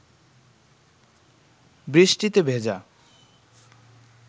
বৃষ্টিতে ভেজা